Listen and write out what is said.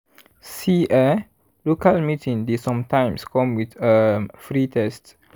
see eh local meeting dey sometimes come with um free test.